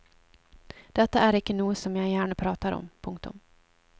Dette er ikke noe som jeg gjerne prater om. punktum